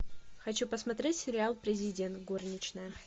хочу посмотреть сериал президент горничная